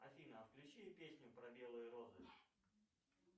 афина включи песню про белые розы